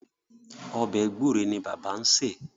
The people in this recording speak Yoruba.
Ọbẹ̀ gbúre ni bàbá ń sè.